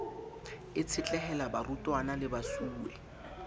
e tshetlehela barutwana le mesuwe